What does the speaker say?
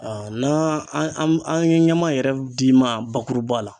n'an an ye ɲama yɛrɛ d'i ma bakuruba la